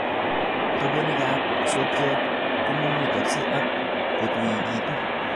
Tobonikab sokyot komumutokse ak kotuekitun